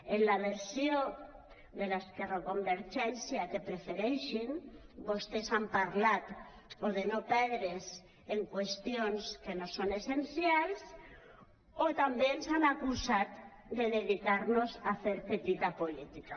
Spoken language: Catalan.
en la versió de l’ esquerroconvergència que prefereixin vostès han parlat de no perdre’s en qüestions que no són essencials o ens han acusat de dedicar nos a fer petita política